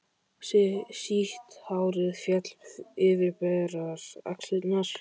Sítt hárið féll yfir berar axlirnar.